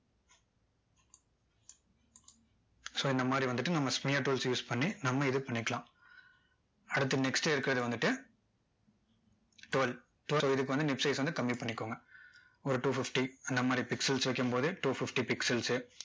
so இந்த மாதிரி வந்துட்டு நம்ம smear tools use பண்ணி நம்ம edit பண்ணிக்கலாம் அடுத்து next இருக்கிறது வந்துட்டு twirl twirl இதுக்கு வந்து size வந்து கம்மி பண்ணிக்கோங்க ஒரு two fifty அந்த மாதிரி pixel வைக்கும் போது two fifty pixels சு